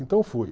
Então, fui.